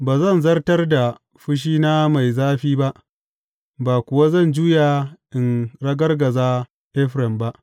Ba zan zartar da fushina mai zafi ba, ba kuwa zan juya in ragargaza Efraim ba.